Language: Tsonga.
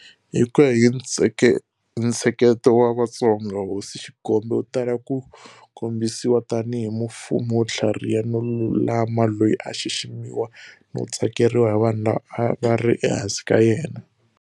Hi ku ya hi ntsheketo wa Vatsonga, Hosi Xigombe u tala ku kombisiwa tanihi mufumi wo tlhariha no lulama loyi a a xiximiwa no tsakeriwa hi vanhu lava a va ri ehansi ka yena.